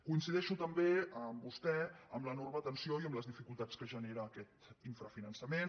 coincideixo també amb vostè en l’enorme tensió i en les dificultats que genera aquest infrafinançament